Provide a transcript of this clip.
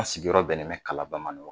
An sigiyɔrɔ bɛnnen bɛ kalaban ma nin wa